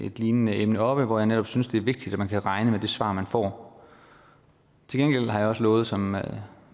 et lignende emne oppe og hvor jeg netop synes det er vigtigt at man kan regne med det svar man får til gengæld har jeg også lovet som